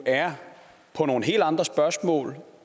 er nogle helt andre spørgsmål